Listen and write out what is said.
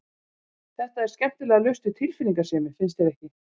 Þetta er skemmtilega laust við tilfinningasemi, finnst þér ekki?